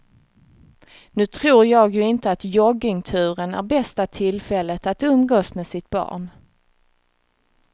Nu tror jag ju inte att joggingturen är bästa tillfället att umgås med sitt barn.